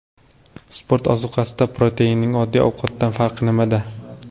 Sport ozuqasida proteinning oddiy ovqatdan farqi nimada?